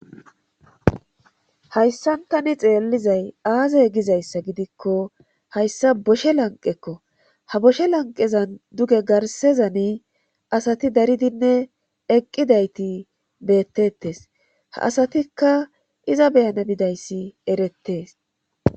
hayssan tani xeellizay aaze gizayssa gidikko hayssa boshe lanqekko ha boshe lanqezan duge garsezani asati daridinne eqqidayti beettettes ha asatikka iza beyana bidayssi erettees